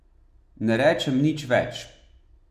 Ne rečem nič več.